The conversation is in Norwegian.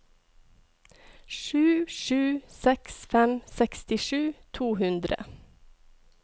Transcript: sju sju seks fem sekstisju to hundre